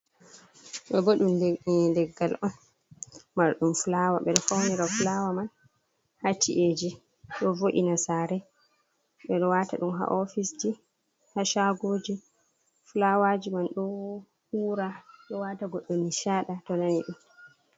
Ɗo bo ɗum leggal on marɗum flawa beɗo faunira. Ɓeɗo waɗa flawa man ha chi’eji ɗo vo’ina sare ɗo ɓeɗo wata ɗum ha ofisji ha shagoji. flawaji man ɗo ura ɗo wata goddo nishadi.